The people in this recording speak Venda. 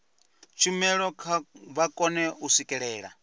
tshumelo vha kone u swikelela